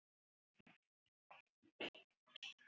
Áhrif á jarðveg